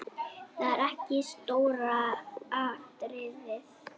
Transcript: Það er ekki stóra atriðið.